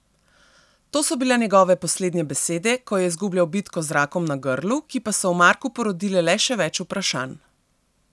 To so bile njegove poslednje besede, ko je izgubljal bitko z rakom na grlu, ki pa so v Marku porodile le še več vprašanj.